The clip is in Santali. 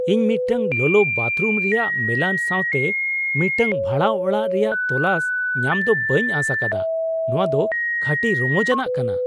ᱤᱧ ᱢᱤᱫᱴᱟᱝ ᱞᱚᱞᱚ ᱵᱟᱛᱷᱨᱩᱢ ᱨᱮᱭᱟᱜ ᱢᱮᱞᱟᱱ ᱥᱟᱶᱛᱮ ᱢᱤᱫᱴᱟᱝ ᱵᱷᱟᱲᱟ ᱚᱲᱟᱜ ᱨᱮᱭᱟᱜ ᱛᱚᱞᱟᱥ ᱧᱟᱢ ᱫᱚ ᱵᱟᱹᱧ ᱟᱸᱥ ᱟᱠᱟᱫᱟᱼᱱᱚᱶᱟ ᱫᱚ ᱠᱷᱟᱹᱴᱤ ᱨᱚᱢᱚᱡᱟᱱᱟᱜ ᱠᱟᱱᱟ !